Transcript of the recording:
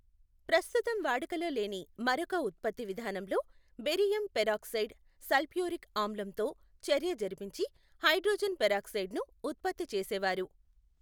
ప్రస్తుతం వాడుకలో లేని మరొక ఉత్పత్తి విధానంలో బేరియం పెరాక్సైడ్ సల్ఫ్యూరిక్ ఆమ్లంతో చర్య జరిపించి హైడ్రోజన్ పెరాక్సైడును ఉత్పత్తి చేసేవారు.